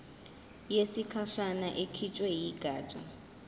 yesikhashana ekhishwe yigatsha